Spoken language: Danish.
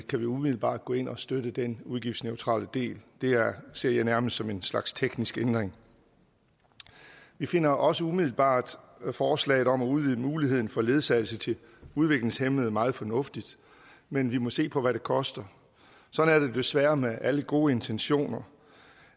kan vi umiddelbart gå ind og støtte den udgiftsneutrale del det ser jeg nærmest som en slags teknisk ændring vi finder også umiddelbart forslaget om at udvide muligheden for ledsagelse til udviklingshæmmede meget fornuftigt men vi må se på hvad det koster sådan er det desværre med alle gode intentioner